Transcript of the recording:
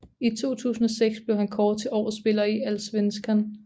I 2006 blev han kåret til årets spiller i Allsvenskan